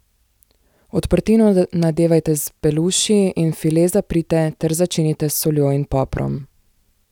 Odprtino nadevajte s beluši in file zaprite ter začinite s soljo in poprom.